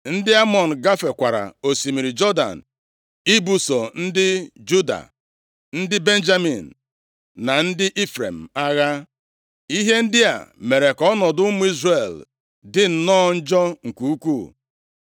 Ndị Amọn gafekwara osimiri Jọdan ibuso ndị Juda, ndị Benjamin na ndị Ifrem agha. Ihe ndị a mere ka ọnọdụ ụmụ Izrel dị nnọọ njọ nke ukwuu.